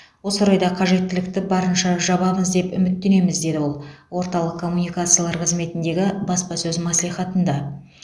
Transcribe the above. осы орайда қажеттілікті барынша жабамыз деп үміттенеміз деді ол орталық коммуникациялар қызметіндегі баспасөз мәслихатында